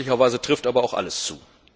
Möglicherweise trifft aber auch alles zu.